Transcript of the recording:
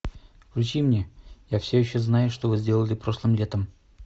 включи мне я все еще знаю что вы сделали прошлым летом